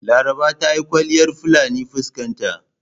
Laraba ta yi kwalliyar fulani fuskan ta..